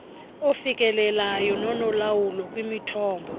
ofikelelayo nonolawulo kwimithombo